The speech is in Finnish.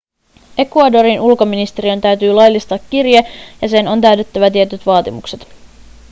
ecuadorin ulkoministeriön täytyy laillistaa kirje ja sen on täytettävä tietyt vaatimukset